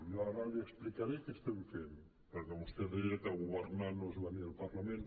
jo ara li explicaré què estem fent perquè vostè deia que governar no és venir al parlament